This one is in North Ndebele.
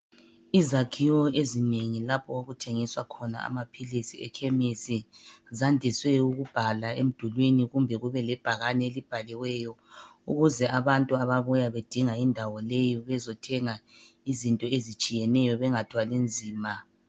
Izakhiwo ezinengi lapho okuthengiswa khona amaphilisi ekhemisi zandiswe ukubhala emdulini kumbe kube lebhakane elibhaliweyo, ukuze abantu ababuya bedinga indawo leyi bezothenga izinto ezitshiyeneyo bengathwali nzima.